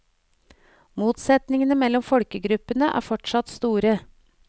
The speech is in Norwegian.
Motsetningene mellom folkegruppene er fortsatt store.